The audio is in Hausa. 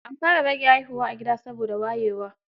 An fara rage haihuwa a gida, saboda wayewa.